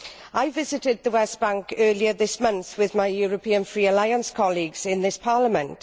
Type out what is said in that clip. I visited the West Bank earlier this month with my European Free Alliance colleagues in this Parliament.